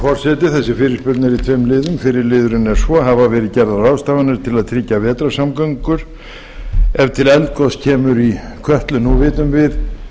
í tveim liðum fyrri liðurinn er svo fyrstu hafa verið gerðar ráðstafanir til að tryggja vegasamgöngur ef til eldgoss kemur í kötlu nú vitum við